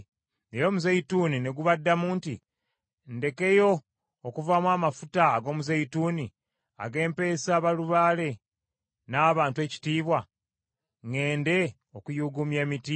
Naye omuzeyituuni ne gubaddamu nti, ‘Ndekeyo okuvaamu amafuta ag’omuzeeyituuni agampeesa balubaale n’abantu ekitiibwa, ŋŋende okuyuuguumya emiti?’